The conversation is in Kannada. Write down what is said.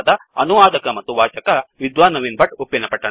ಅನುವಾದಕ ಮತ್ತು ವಾಚಕ ವಿದ್ವಾನ್ ನವೀನ್ ಭಟ್ಟ ಉಪ್ಪಿನಪಟ್ಟಣ